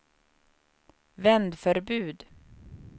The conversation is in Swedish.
vändförbud